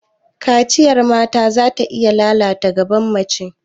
Kaciyar mata zata iya lalata gaban mace.